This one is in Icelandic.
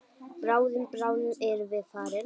Bráðum, bráðum erum við farin.